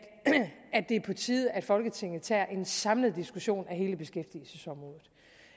det er på tide at folketinget tager en samlet diskussion af hele beskæftigelsesområdet